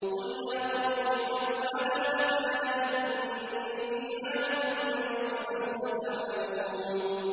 قُلْ يَا قَوْمِ اعْمَلُوا عَلَىٰ مَكَانَتِكُمْ إِنِّي عَامِلٌ ۖ فَسَوْفَ تَعْلَمُونَ